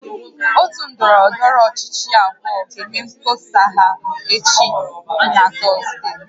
Otu ndọrọndọrọ ọchịchị abụọ ga-eme mkpọsa ha echi na Tọzdee